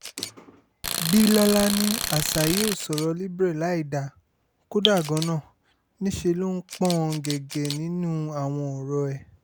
bílọ́lá ní asahi ò sọ̀rọ̀ libre láìdáa kódà gan-an níṣẹ́ ló ń pọ́n ọn gẹ́gẹ́ nínú àwọn ọ̀rọ̀ ẹ̀